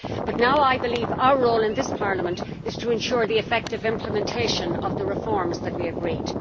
But now I believe our role in this Parliament is to ensure the effective implementation of the reforms that we agreed.